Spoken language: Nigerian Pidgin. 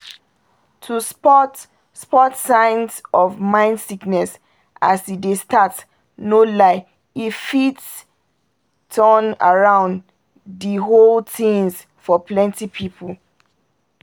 to spot spot signs of mind sickness as e dey start no lie e fit **turn around di whole tins** for plenty pipul